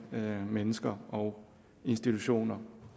mennesker og institutioner